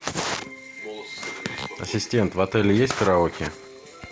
ассистент в отеле есть караоке